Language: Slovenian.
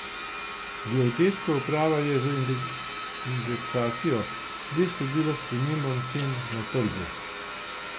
Geodetska uprava je z indeksacijo le sledila spremembam cen na trgu.